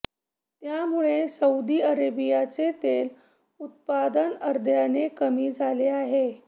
त्यामुळे सौदी अरेबियाचे तेल उत्पादन अर्ध्याने कमी झाले आहे